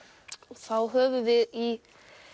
þá höfum við í